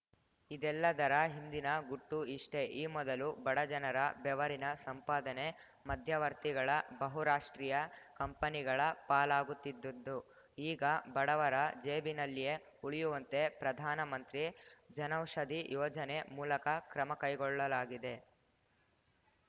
ಇದೆಲ್ಲದರ ಹಿಂದಿನ ಗುಟ್ಟು ಇಷ್ಟೆ ಈ ಮೊದಲು ಬಡ ಜನರ ಬೆವರಿನ ಸಂಪಾದನೆ ಮಧ್ಯವರ್ತಿಗಳಬಹುರಾಷ್ಟ್ರೀಯ ಕಂಪನಿಗಳ ಪಾಲಾಗುತ್ತಿದ್ದದ್ದು ಈಗ ಬಡವರ ಜೇಬಿನಲ್ಲಿಯೇ ಉಳಿಯುವಂತೆ ಪ್ರಧಾನ ಮಂತ್ರಿ ಜನೌಷಧಿ ಯೋಜನೆ ಮೂಲಕ ಕ್ರಮ ಕೈಗೊಳ್ಳಲಾಗಿದೆ